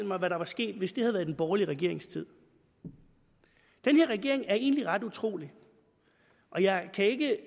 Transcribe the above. mig hvad der var sket hvis det havde været i den borgerlige regerings tid den her regering er egentlig ret utrolig og jeg kan ikke